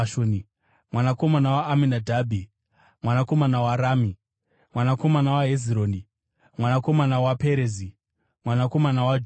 mwanakomana waAminadhabhi, mwanakomana waRami, mwanakomana waHezironi, mwanakomana waPerezi, mwanakomana waJudha,